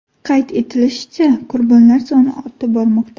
Qayd etilishicha, qurbonlar soni ortib bormoqda.